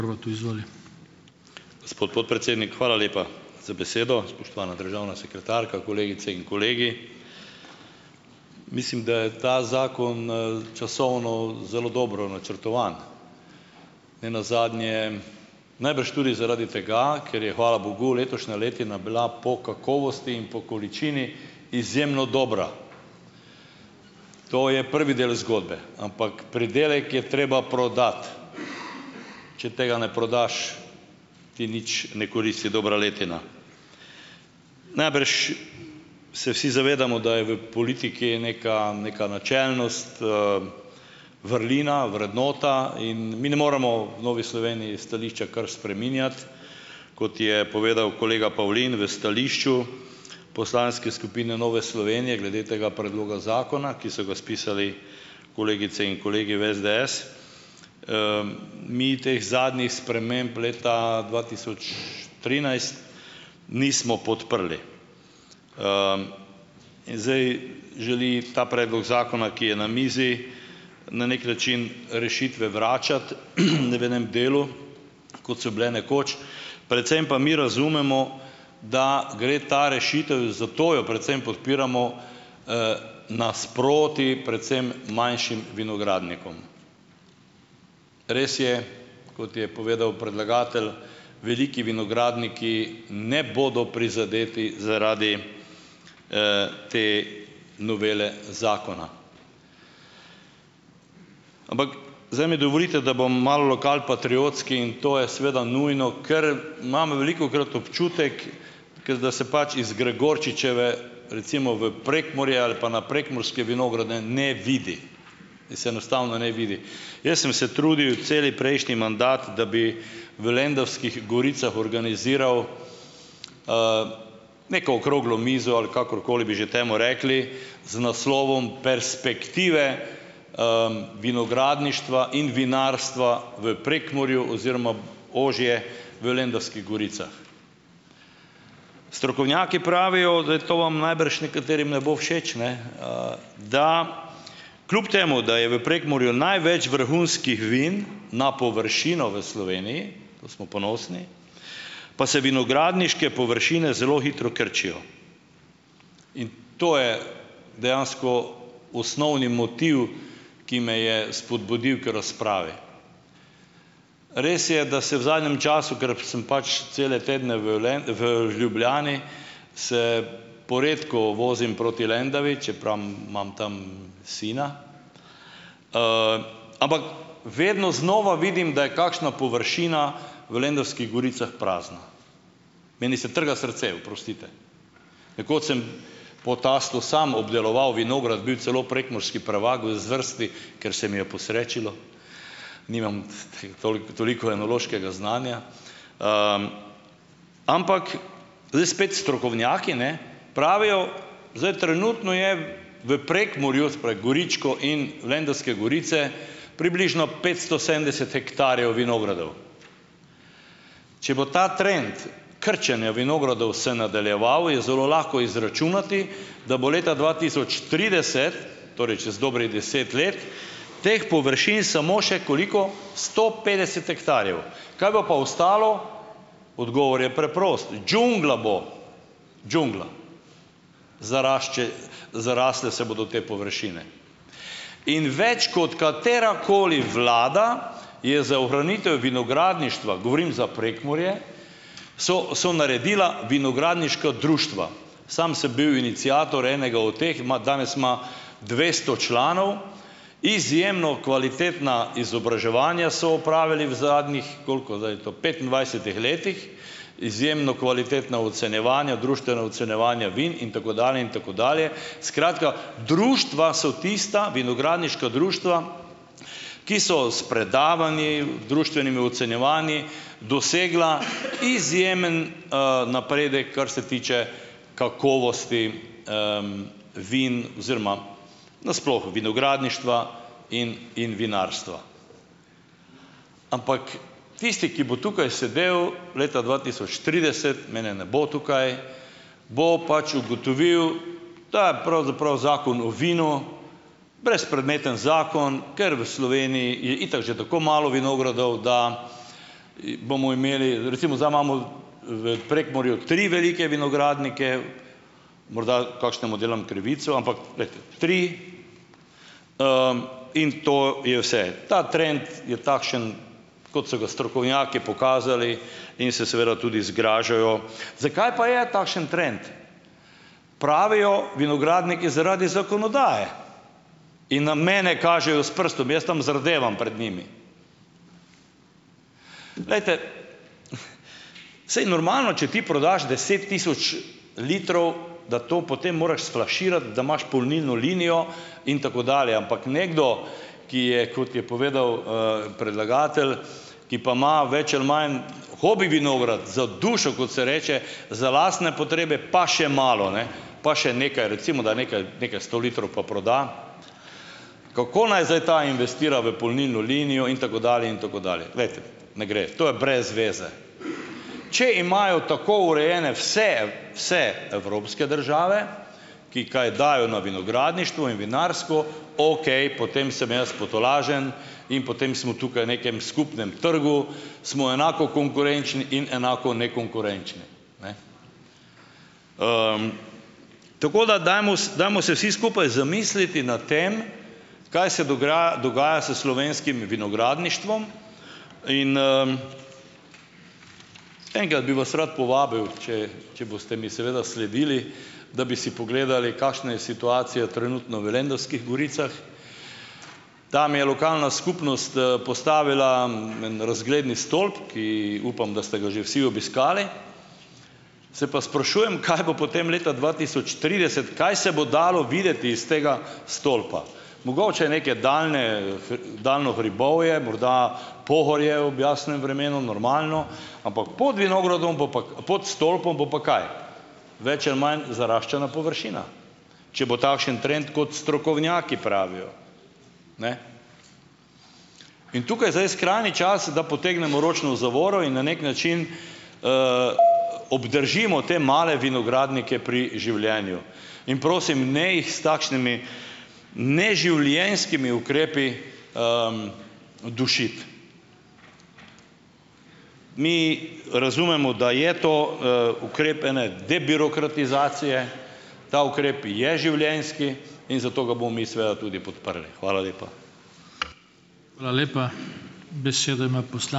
Gospod podpredsednik, hvala lepa za besedo, spoštovana državna sekretarka, kolegice in kolegi. Mislim, da je ta zakon, časovno zelo dobro načrtovan. Ne nazadnje najbrž tudi zaradi tega, ker je, hvala bogu, letošnja letina bila po kakovosti in po količini izjemno dobra. To je prvi del zgodbe. Ampak pridelek je treba prodati. Če tega ne prodaš, ti nič ne koristi dobra letina. Najbrž se vsi zavedamo, da je v politiki neka neka načelnost, vrlina, vrednota in mi ne moremo v Novi Sloveniji stališča kar spreminjati. Kot je povedal kolega Pavlin v stališču poslanske skupine Nove Slovenije glede tega predloga zakona, ki so ga spisali kolegice in kolegi v SDS, - mi teh zadnjih sprememb leta dva tisoč trinajst nismo podprli. In zdaj želi ta predlog zakona, ki je na mizi - na neki način rešitve vračati, ne v enem delu. Kot so bile nekoč. Predvsem pa mi razumemo, da gre ta rešitev - zato jo predvsem podpiramo - nasproti predvsem manjšim vinogradnikom. Res je, kot je povedal predlagatelj - veliki vinogradniki ne bodo prizadeti zaradi, te novele zakona. Ampak - zdaj mi dovolite, da bom malo lokalpatriotski in to je seveda nujno, ker imam velikokrat občutek, ker da se pač iz Gregorčičeve, recimo v Prekmurje ali pa na prekmurske vinograde ne vidi. Se enostavno ne vidi. Jaz sem se trudil cel prejšnji mandat, da bi v Lendavskih goricah organiziral neko okroglo mizo, ali kakorkoli bi že temu rekli, z naslovom Perspektive, vinogradništva in vinarstva v Prekmurju oziroma ožje v Lendavskih goricah. Strokovnjaki pravijo, da je to vam najbrž nekaterim ne bo všeč, ne. Da kljub temu, da je v Prekmurju največ vrhunskih vin na površino v Sloveniji - to smo ponosni - pa se vinogradniške površine zelo hitro krčijo. In to je dejansko osnovni motiv, ki me je spodbudil k razpravi. Res je, da se v zadnjem času - ker sem pač cele tedne v v Ljubljani - se poredko vozim proti Lendavi, čeprav imam tam, sina. Ampak vedno znova vidim, da je kakšna površina v Lendavskih goricah prazna. Meni se trga srce, oprostite. Nekoč sem po tastu samo obdeloval vinograd, bil celo prekmurski prvak v zvrsti, ker se mi je posrečilo - nimam, toliko, toliko enološkega znanja. Ampak zdaj spet - strokovnjaki, ne, pravijo - zdaj trenutno je v Prekmurju, se pravi Goričko in Lendavske gorice, približno petsto sedemdeset hektarjev vinogradov. Če bo ta trend krčenja vinogradov se nadaljeval, je zelo lahko izračunati, da bo leta dva tisoč trideset, torej čez dobrih deset let, teh površin samo še - koliko? Sto petdeset hektarjev. Kaj bo pa ostalo? Odgovor je preprost. Džungla bo! Džungla. zarasle se bodo te površine. In več kot katerakoli vlada je za ohranitev vinogradništva - govorim za Prekmurje - so so naredila vinogradniška društva. Samo sem bil iniciator enega od teh, ima danes ima dvesto članov. Izjemno kvalitetna izobraževanja so opravili v zadnjih - koliko zdaj to - petindvajsetih letih. Izjemno kvalitetna ocenjevanja, društvena ocenjevanja vin in tako dalje in tako dalje. Skratka - društva so tista, vinogradniška društva, ki so s predavanji, društvenimi ocenjevanji dosegla izjemen, napredek, kar se tiče kakovosti, vin oziroma nasploh vinogradništva in in vinarstva. Ampak tisti, ki bo tukaj sedel leta dva tisoč trideset - mene ne bo tukaj - bo pač ugotovil, da je pravzaprav Zakon o vinu brezpredmeten zakon, ker v Sloveniji je itak že tako malo vinogradov, da, bomo imeli - recimo, zdaj imamo v Prekmurju tri velike vinogradnike, morda kakšnemu delam krivico, ampak - glejte, tri. In to je vse. Ta trend je takšen, kot so ga strokovnjaki pokazali, in se seveda tudi zgražajo. Zakaj pa je takšen trend? Pravijo vinogradniki, zaradi zakonodaje, in na mene kažejo s prstom. Jaz tam zardevam pred njimi. Glejte, saj normalno, če ti prodaš deset tisoč litrov, da to potem moraš sflaširati, da imaš polnilno linijo in tako dalje, ampak nekdo, ki je, kot je povedal, predlagatelj, ki pa ima več ali manj hobi vinograd za dušo, kot se reče, za lastne potrebe pa še malo, ne, pa še nekaj, recimo da nekaj nekaj sto litrov pa proda, kako naj zdaj ta investira v polnilno linijo in tako dalje in tako dalje. Glejte, ne gre. To je brez veze. Če imajo tako urejene vse vse evropske države, ki kaj dajo na vinogradništvo in vinarstvo, okej, potem sem jaz potolažen in potem smo tukaj v nekem skupnem trgu, smo enako konkurenčni in enako nekonkurenčni, ne. Tako da dajmo, dajmo se vsi skupaj zamisliti nad tem, kaj se dogaja s slovenskim vinogradništvom. In, enkrat bi vas rad povabil, če če boste mi seveda sledili, da bi si pogledali, kakšna je situacija trenutno v Lendavskih goricah. Tam je lokalna skupnost, postavila, en razgledni stolp, ki upam, da ste ga že vsi obiskali, se pa sprašujem, kaj bo potem leta dva tisoč trideset, kaj se bo dalo videti iz tega stolpa. Mogoče neke daljne daljno hribovje, morda Pohorje ob jasnem vremenu, normalno, ampak pod vinogradom, bo pa pod stolpom bo pa kaj, več ali manj zaraščena površina, če bo takšen trend, kot strokovnjaki pravijo. Ne. In tukaj zdaj je skrajni čas, da potegnemo ročno zavoro in na neki način obdržimo te male vinogradnike pri življenju. In prosim, ne jih s takšnimi neživljenjskimi ukrepi dušiti. Mi razumemo, da je to, ukrep ene debirokratizacije, ta ukrep je življenjski in zato ga bomo mi seveda tudi podprli. Hvala lepa.